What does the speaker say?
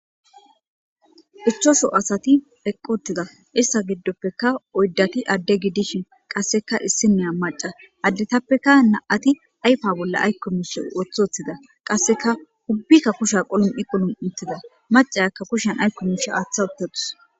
Ichachu asati eqiwotida ista gidopeka oydati ade gidishin qaseka issiniya mac'a addetapeka na'ati ayfa bola ayko mishi wotiutida qaseka ubika kushiya qulum'i qulum'i utida mac'iyaka kushiyan ayko misha ata utadus.